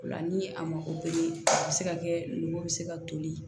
O la ni a mako bɛ a bɛ se ka kɛ nugu bɛ se ka toli